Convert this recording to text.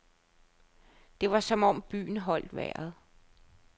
Det var som om byen holdt vejret.